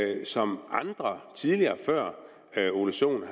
og som andre tidligere før herre ole sohn